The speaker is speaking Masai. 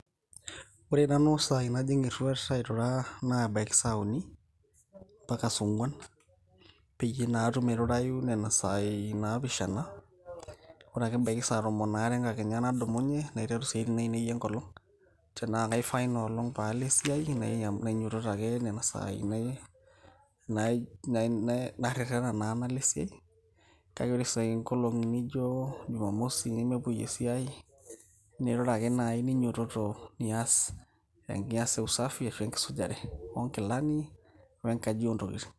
ore nanu isaai najing erruat airura naa ebaiki saa uni mpaka saa ong'uan peyie naa atum airurayu nena saai naapishana ore ake ebaiki saa tomon aare enkakenya nadumunye naiteru isiaitin ainei enkolong tenaa kaifaa inoolong paalo esiai nainyototo ake nena saai nai narrerena naa nalo esiai kake ore sai nkolong'i nijo jumamosi nemepuoi esiai nirura ake naaji ninyototo nias usafi ashu enkisujare oonkilani we nkaji ontokitin.